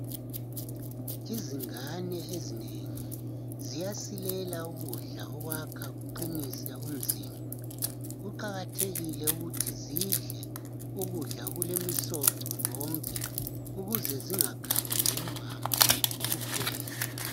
Izingane ezinengi ziyasilela ukudla okwakha kuqinise umzimba kuqakathekile ukuthi zidle ukudla kulemisoco yonke ukuze zingakhanyi lembambo kuphela